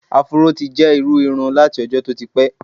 Afuró ti jẹ́ irú irun láti ọjọ́ tó ti pẹ́.